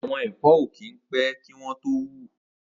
Awọn ẹ̀fọ̀ ó kin pẹ̀ kiwọn tó wù